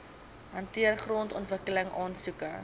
hanteer grondontwikkeling aansoeke